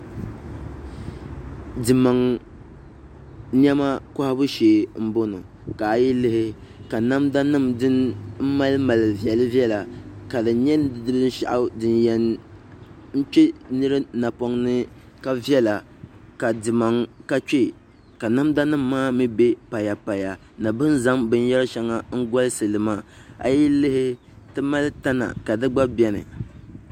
Dimaŋ niɛma kohabu shee n bɔŋɔ ka a yi lihi ka namda nim din mali viɛli viɛla ka di nyɛ binshaɣu din yɛn kpɛ nira napoŋ ni ka viɛla ka dimaŋ ka kpee namda nim maa mii bɛ pata paya ni bin zaŋ binyɛri shɛŋa golisili maa a yi lihi ti mali tana ka di gba biɛni